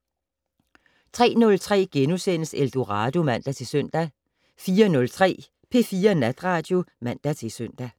03:03: Eldorado *(man-søn) 04:03: P4 Natradio (man-søn)